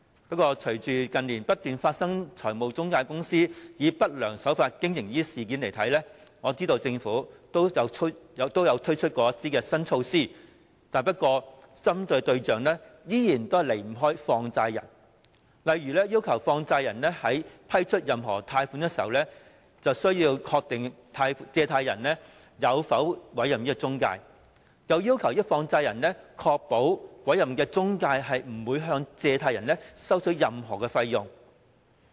不過，隨着近年不斷發生中介公司以不良手法經營的事件，我知道政府也曾推出一些新措施，但針對的對象依然離不開放債人，例如要求放債人在批出任何貸款時必須確定借款人有否委任中介公司，亦要求放債人確保委任的中介公司不會向借款人收取任何費用。